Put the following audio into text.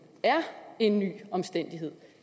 er en ny omstændighed